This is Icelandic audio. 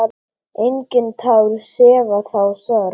Engin tár sefa þá sorg.